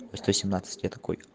сто семнадцать я такой